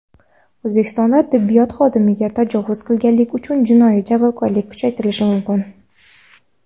O‘zbekistonda tibbiyot xodimiga tajovuz qilganlik uchun jinoiy javobgarlik kuchaytirilishi mumkin.